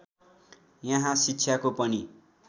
यहाँ शिक्षाको पनि